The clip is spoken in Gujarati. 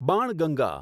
બાણગંગા